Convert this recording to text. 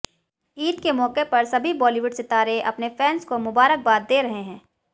ईद के मौके पर सभी बॉलीवुड सितारे अपने फैन्स को मुबारकबाद दे रहे हैं